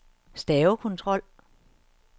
stavekontrol